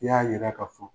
I y'a yira ka fɔ